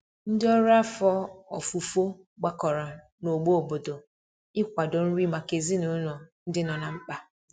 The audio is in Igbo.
Ndi ọrụ afọ ọfufo gbakọrọ na ogbo obodo ị kwado nri maka ezinulo ndi nọ na mkpa